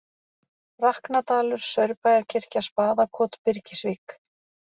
Raknadalur, Saurbæjarkirkja, Spaðakot, Birgisvík